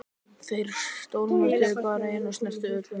Þeir stormuðu bara inn og sneru öllu við.